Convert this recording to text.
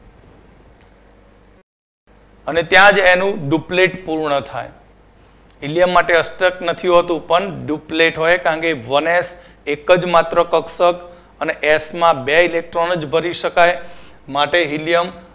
અને ત્યાં જ એનું duplet પૂર્ણ થાય helium માટે અષ્ટક નથી હોતું પણ duplet હોય કારણ કે one S એક જ માત્ર કક્ષક અને S મા બે electron જ ભરી શકાય માટે helium